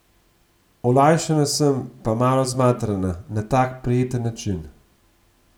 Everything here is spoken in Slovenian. Olajšana sem pa malo zmatrana, na tak prijeten način.